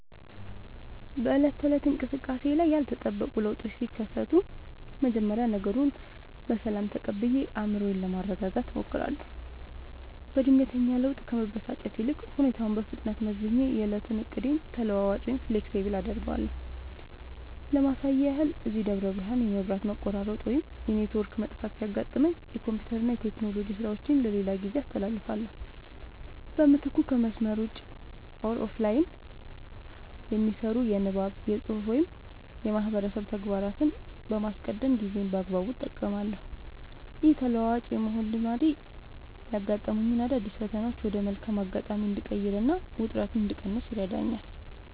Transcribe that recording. በዕለት ተዕለት እንቅስቃሴዬ ላይ ያልተጠበቁ ለውጦች ሲከሰቱ፣ መጀመሪያ ነገሩን በሰላም ተቀብዬ አእምሮዬን ለማረጋጋት እሞክራለሁ። በድንገተኛ ለውጥ ከመበሳጨት ይልቅ፣ ሁኔታውን በፍጥነት መዝኜ የዕለቱን ዕቅዴን ተለዋዋጭ (Flexible) አደርገዋለሁ። ለማሳያ ያህል፣ እዚህ ደብረ ብርሃን የመብራት መቆራረጥ ወይም የኔትወርክ መጥፋት ሲያጋጥመኝ፣ የኮምፒውተርና የቴክኖሎጂ ሥራዎቼን ለሌላ ጊዜ አስተላልፋለሁ። በምትኩ ከመስመር ውጭ (Offline) የሚሰሩ የንባብ፣ የፅሁፍ ወይም የማህበረሰብ ተግባራትን በማስቀደም ጊዜዬን በአግባቡ እጠቀማለሁ። ይህ ተለዋዋጭ የመሆን ልማዴ ያጋጠሙኝን አዳዲስ ፈተናዎች ወደ መልካም አጋጣሚ እንድቀይርና ውጥረት እንድቀንስ ይረዳኛል።